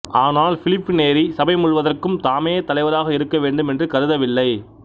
ஆனால் Philip Neri சபை முழுவதற்கும் தாமே தலைவராக இருக்கவேண்டும் என்று கருதவில்லை